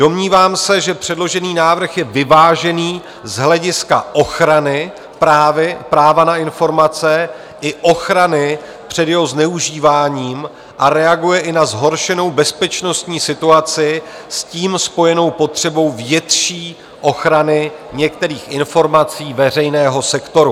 Domnívám se, že předložený návrh je vyvážený z hlediska ochrany práva na informace i ochrany před jeho zneužíváním a reaguje i na zhoršenou bezpečnostní situaci s tím spojenou potřebu větší ochrany některých informací veřejného sektoru.